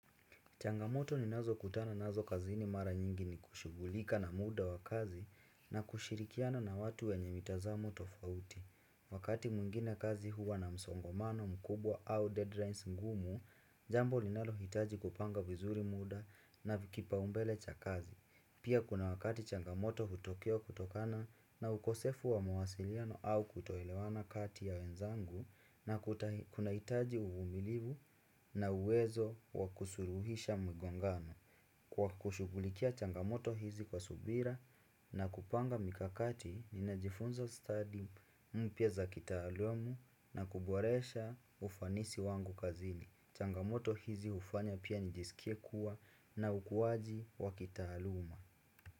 Changamoto ninazokutana nazo kazini mara nyingi ni kushughulika na muda wa kazi na kushirikiana na watu wenye mitazamo tofauti. Wakati mwingine kazi huwa na msongamano mkubwa au deadlines ngumu, jambo linalo hitaji kupanga vizuri muda na vikipaumbele cha kazi. Pia kuna wakati changamoto hutokea kutokana na ukosefu wa mawasiliano au kutoelewana kati ya wenzangu na kuna hitaji uvumilivu na uwezo wakusuluhisha mgongano. Kwa kushughulikia changamoto hizi kwa subira na kupanga mikakati ninajifunza study mpya za kitaaluma na kuboresha ufanisi wangu kazini. Changamoto hizi hufanya pia njisikie kuwa na ukuwaji wakitaaluma.